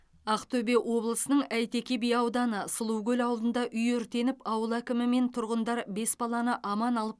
ақтөбе облысының әйтеке би ауданы сұлукөл ауылында үй өртеніп ауыл әкімі мен тұрғындар бес баланы аман алып